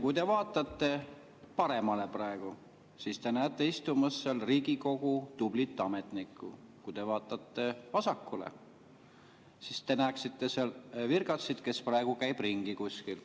Kui te vaatate paremale praegu, siis te näete istumas seal Riigikogu tublit ametnikku, kui te vaatate vasakule, siis te näeksite seal virgatsit, kes praegu käib ringi kuskil.